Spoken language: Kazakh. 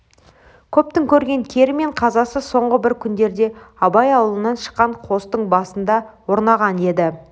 көптің көрген кері мен қазасы соңғы бір күндерде абай аулынан шыққан қостың басына да орнаған еді